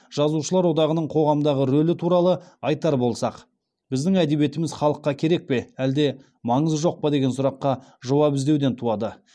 жазушылар одағының қоғамдағы рөлі туралы айтар болсақ біздің әдебиетіміз халыққа керек пе әлде маңызы жоқ па деген сұраққа жауап іздеуден туады